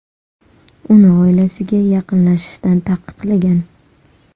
Uni oilasiga yaqinlashishdan taqiqlagan.